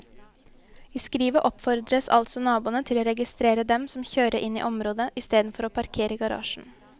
I skrivet oppfordres altså naboene til å registrere dem som kjører inn i området i stedet for å parkere i garasjen.